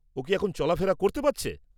ও কি এখন চলাফেরা করতে পারছে?